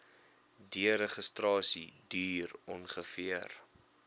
deregistrasie duur ongeveer